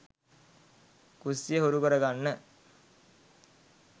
කුස්සිය හුරු කරගන්න